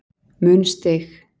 mun stig